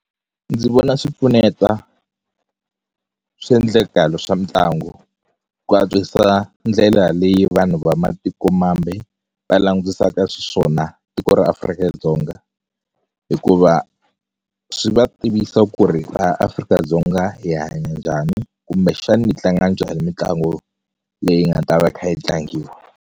Ndzi vona swi pfuneta swiendlekalo swa mitlangu ku antswisa ndlela leyi vanhu va matikomambe va langutisaka xiswona tiko ra Afrika-Dzonga hikuva swi va tivisa ku ri laha Afrika-Dzonga hi hanya njhani kumbexani hi tlanga njhani mitlangu leyi nga ta va kha yi tlangiwa.